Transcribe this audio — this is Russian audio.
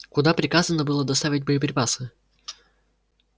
куда приказано было доставить боеприпасы